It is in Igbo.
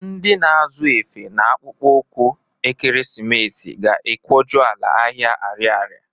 Ndị na-azụ efe na akpụkpọụkwụ ekeresimesi ga-ekwojuọla ahịa Arịarịa.